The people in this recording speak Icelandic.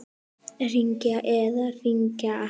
Hringja eða hringja ekki?